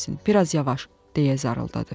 Bir az yavaş, deyə zar-zar zarldadı.